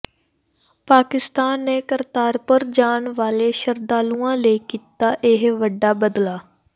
ਪਾਕਿਸਤਾਨ ਨੇ ਕਰਤਾਰਪੁਰ ਜਾਣ ਵਾਲੇ ਸ਼ਰਧਾਲੂਆਂ ਲਈ ਕੀਤਾ ਇਹ ਵੱਡਾ ਬਦਲਾਅ